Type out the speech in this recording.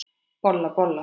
Bolla, bolla!